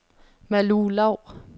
Malou Lau